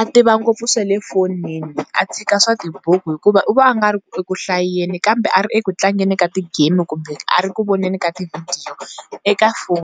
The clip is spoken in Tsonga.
a tiva ngopfu swa le tifonini a tshika swa tibuku hikuva u va a nga ri eku hlayeni kambe a ri eku tlangeni ka ti-game kumbe a ri ku voneni ka ti vidhiyo eka foni.